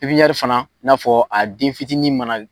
fana, n'a fɔ a den fitinin ma na